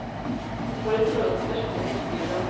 Jeg får et forhold til personene jeg skriver om.